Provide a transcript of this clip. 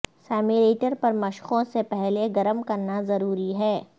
simulator پر مشقوں سے پہلے گرم کرنا ضروری ہے